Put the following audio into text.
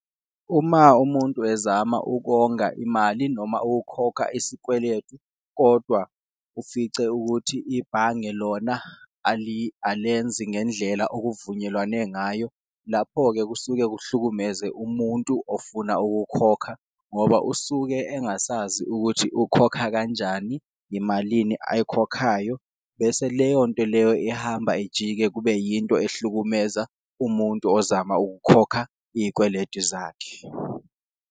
Uma umuntu ezama ukonga imali noma ukukhokha isikweletu kodwa ufice ukuthi ibhange lona alenzi ngendlela okuvunyelwane ngayo, lapho-ke kusuke kuhlukumeze umuntu ofuna ukukhokha ngoba usuke engasazi ukuthi ukhokha kanjani, imalini ayikhokhayo. Bese leyonto leyo ihamba ijike kube yinto ehlukumeza umuntu ozama ukukhokha iyiweletu zakhe.